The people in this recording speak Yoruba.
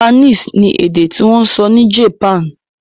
Japanese ni èdè tí wọ́n ń sọ ní Japan.